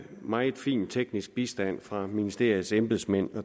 meget fin teknisk bistand fra ministeriets embedsmænd